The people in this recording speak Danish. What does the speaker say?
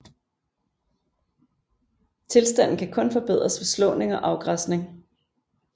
Tilstanden kan kun forbedres ved slåning og afgræsning